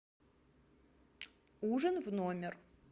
ужин в номер